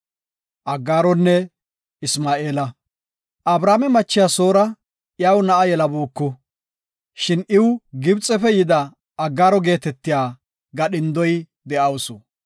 Abrame machiya Soora iyaw na7a yelabuuku. Shin iw Gibxefe yida Aggaaro geetetiya gadhindoy de7awusu.